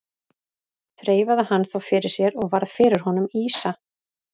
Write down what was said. Þreifaði hann þá fyrir sér og varð fyrir honum ýsa.